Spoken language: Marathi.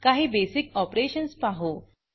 काही बेसिक ऑपरेशन्स पाहू